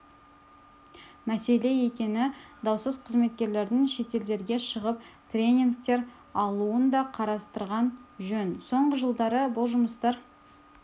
мәселе екені даусыз қызметкерлердің шетелдерге шығып тренингтер алуын да қарастырған жөн соңғы жылдары бұл жұмыстар